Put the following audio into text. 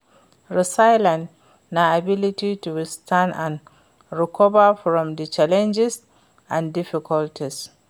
resilience na ability to withstand and recover from di challenges and difficulties.